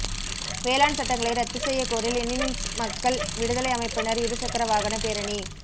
வேளாண் சட்டங்களை ரத்து செய்ய கோரி லெனினிஸ்ட் மக்கள் விடுதலை அமைப்பினர் இருசக்கர வாகன பேரணி